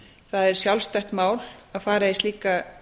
það er sjálfstætt mál að fara í slíka